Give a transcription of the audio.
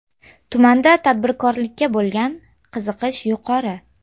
Tumanda tadbirkorlikka bo‘lgan qiziqish yuqori.